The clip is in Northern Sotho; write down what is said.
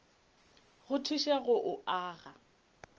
go thuše go o aga